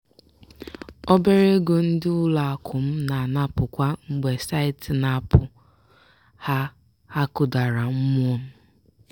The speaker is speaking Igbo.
"obere ego ndị ụlọakụ m na-anapụ kwa mgbe site n'aapụ ha ha kụdara mmụọ m. "